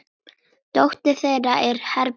Dóttir þeirra er Herborg Helga.